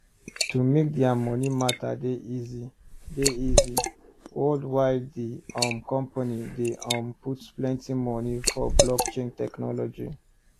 to make dia money matter dey easy dey easy worldwidethe um company dey um put plenty money for blockchain technology